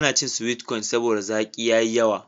Ba na cin sweet cone saboda zaki ya yi yawa.